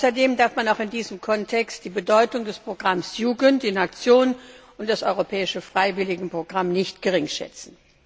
Außerdem darf man auch in diesem Kontext die Bedeutung des Programms Jugend in Aktion und des Europäischen Freiwilligenprogramms nicht geringschätzen.